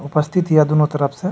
उपस्थित हिय दुनो तरफ से।